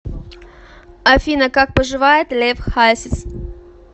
афина как поживает лев хасис